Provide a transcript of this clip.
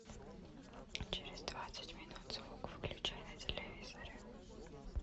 через двадцать минут звук выключай на телевизоре